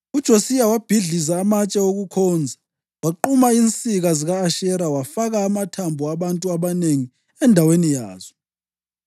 UJosiya wabhidliza amatshe okukhonza, waquma izinsika zika-Ashera, wafaka amathambo abantu abanengi endaweni yazo.